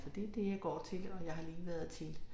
Så det det jeg går til og jeg har lige været til